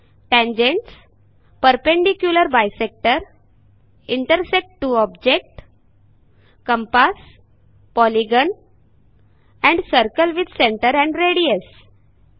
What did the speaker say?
tangents Perpendicular bisector Intersect two objects Compass Polygon Circle with centre and radius